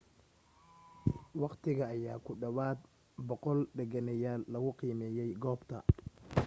wakhti ayaa ku dhawaad 100 deganeyaal lagu qiimeeyay goobta